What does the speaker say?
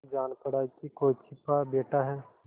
जान पड़ा कि कोई छिपा बैठा है